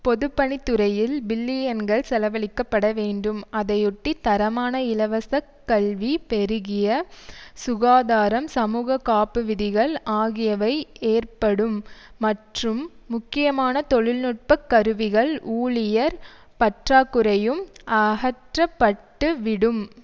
பொது பணித்துறையில் பில்லியன்கள் செலவழிக்க பட வேண்டும் அதையொட்டி தரமான இலவசக் கல்வி பெருகிய சுகாதாரம் சமூக காப்பு விதிகள் ஆகியவை ஏற்படும் மற்றும் முக்கியமான தொழில்நுட்ப கருவிகள் ஊழியர் பற்றாக்குறையும் அகற்றப்பட்டுவிடும்